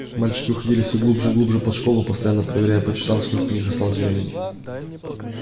мальчики уходили все глубже и глубже под школу постоянно проверяя по часам сколько у них осталось времени